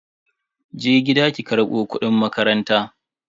Je gida ki karbo kudin makaranta.